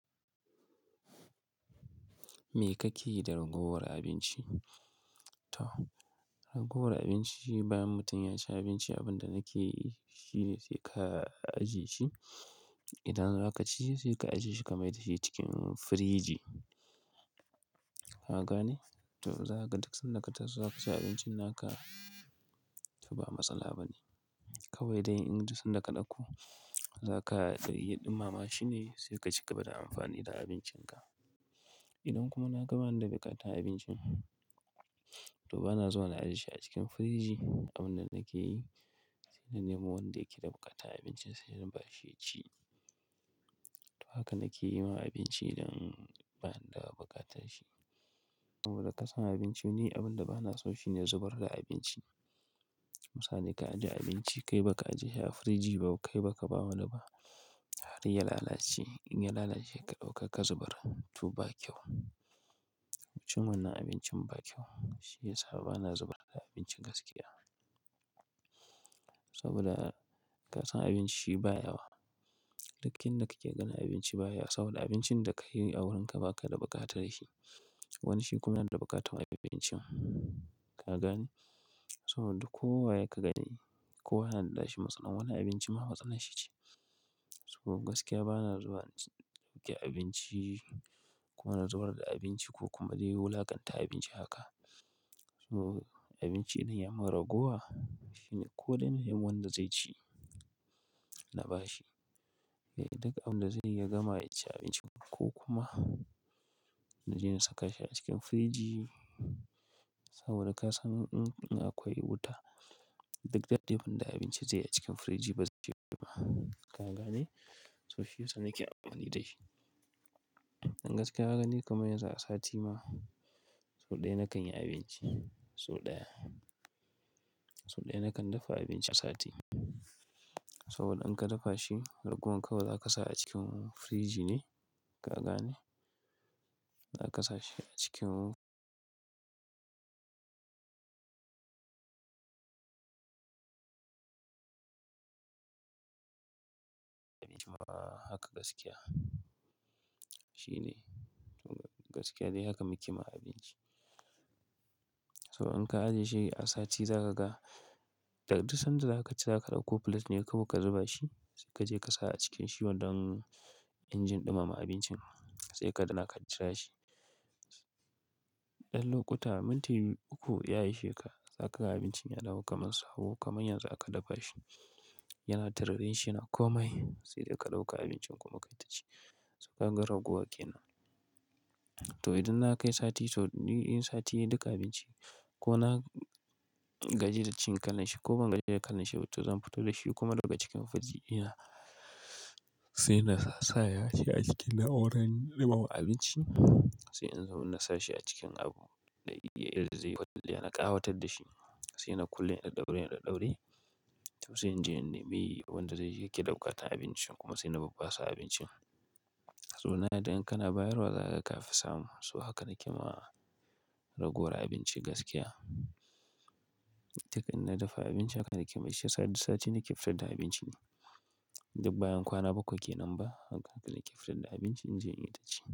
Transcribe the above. Me kake yi da ragowar abinci? Ragowar abinci bayan mutum ya ci abinci, abin da nake yi shi ne sai ka ajiye shi. Idan zaka ci sai ka ajiye shi kamai da shi cikin firiji. Ka gane? To, za ka dukkan sanda ka taru za ka ci abincin naka to ba matsala ba ne. Kawai dai in ji sun da ka ɗauko za ka ɗaiyi ɗumama shi ne sai ka cigaba da amfani da abincinka. Idan kuma naga bani da buƙatar abincin, to ba na zuwa na ajiye shi a cikin firiji. Abin da nake yi sai na nemo wanda yake da buƙatar abincin sai na ba shi ya ci. To haka nake yi ma abinci idan bani da buƙatar shi. Saboda ka san abinci, ni abin da ba na so shi ne zubar da abinci. Misali ka ajiye abinci kai ba ka ajiye shi a firiji ba, kai ba ka ba wani ba har ya lalace. In ya lalace ka ɗauka ka zubar to ba kyau. Cin wanna abincin ba kyau. Shi ya sa ba na zubar da abinci gaskiya. Saboda ka san abinci ba yawa. Duk inda kake gani abinci baya saboda abincin da ka yi a wurinka baka da buƙatar shi. Wani shi kuma yana da buƙatar abincin. Ka gane? Saboda kowa yake gani, kowa na da nashi Matsalar wannan abincin ma matsalar shi ce. Sabo gaskiya ba na zuwa ɗauke abinci ko na zubar da abinci ko kuma dai wulakanta abinci haka. Sabo abinci idan ya mun ragowa shi ne koɗan yin wanda zai ci na ba shi. Eh, duk abin da zai iya gama ya ci abinci ko kuma na je na saka shi a cikin firiji. Saboda ka san in akwai wuta duk dadin da abinci zai yi a cikin firiji ba zai yiwu ba. Ka gane? To shi yasa nake amfani da shi. Dan gaskiya ka ga ni kamar yanzu a sati ma sau ɗaya na kanyi abinci. Sau ɗaya. Sau ɗaya na kan dafa abinci a sati. Saboda in ka dafa shi ragowar kawai za ka sa a cikin firiji ne. Ka gane? Za ka sa shi a cikin abinci ma haka gaskiya. Shi ne gaskiya dai haka muke ma abinci. Sabo in ka ajiye shi a sati za ka ga, duk san da za ka ci za ka ɗauko plate ne kawai ka zuba shi sai kaje ka sa a cikin shi don injin ɗumama abincin sai ka daina ka jira shi. Ɗan lokuta minti uku ya ishe ka za ka ga abincin ya dawo kaman sabo kamar yanzu aka dafa shi. Yana taurarin shi na komai sai dai ka ɗauka abincin kuma ka taci. To ka ga ragowa kenan. To idan na kai sati to ni in sati nayi duka abinci ko na gaji da cin kalan shi ko ban gaji da kalan shi ba to zan fito da shi kuma daga cikin firiji ina sai na sasaya shi a cikin na'urar ɗumama abinci sai in zo na sashi a cikin abu da yana ƙawatar da shi sai na kulle ina daure yana daure. To sai inje in nemi wanda zai yake bukata abincin kuma sai na ba basu abincin. To nayarda in kana bayar wa za ka ga ka fi samu. To haka nake ma ragowar abinci gaskiya. Duk in na dafa abinci haka nake yi. Shi yasa duk sati nake fitar da abinci. Duk bayan kwana bakwai kenan ba, haka nake fitar da abinci injin yi ta ci.